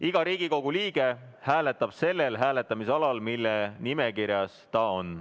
Iga Riigikogu liige hääletab sellel hääletamisalal, mille nimekirjas ta on.